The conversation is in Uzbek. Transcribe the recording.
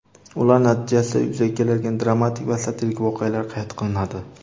ular natijasida yuzaga keladigan dramatik va satirik voqealar qayd qilinadi.